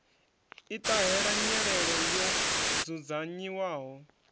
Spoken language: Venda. i ṱahela nyelelo yo dzudzanyiwaho